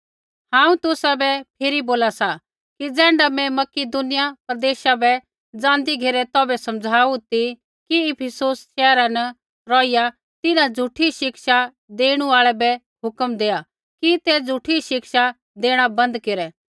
हांऊँ तुसाबै फिरी बोला सा कि ज़ैण्ढा मैं मकिदुनिया प्रदेशा बै ज़ाँदी घेरै तौभै समझ़ाऊ ती कि इफिसुस शैहरा न रौहिया तिन्हां झ़ूठी शिक्षा देणु आल़ै बै हुक्म देआ कि ते झ़ूठी शिक्षा देणा बन्द केरै